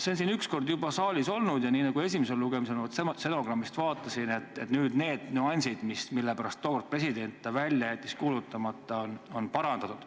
See on üks kord juba saalis olnud ja – ma stenogrammist vaatasin – nüüd on need nüansid, mille pärast tookord president jättis ta välja kuulutamata, parandatud.